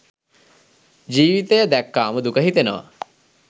ජීවිතය දැක්කාම දුක හිතෙනවා.